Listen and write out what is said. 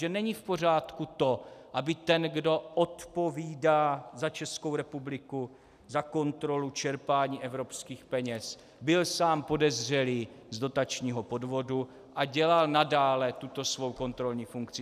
Že není v pořádku to, aby ten, kdo odpovídá za Českou republiku, za kontrolu čerpání evropských peněz, byl sám podezřelý z dotačního podvodu a dělal nadále tuto svou kontrolní funkci.